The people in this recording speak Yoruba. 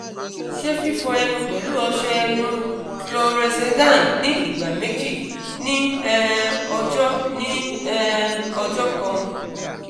ṣe fifọ ẹnu pẹlu ọṣẹ ẹnu chlorhexidine ni igba meji ni um ọjọ ni um ọjọ kan